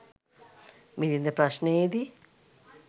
මිළින්ද ප්‍රශ්නයේ දී